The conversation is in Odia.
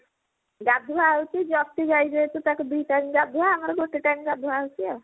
ଗାଢୁଆ ହଉଛି ପ୍ରତି ତାକୁ ଦି time ଗାଧୁଆ ଆମର ଗୋଟେ time ଗାଧୁଆ ହଉଛି ଆଉ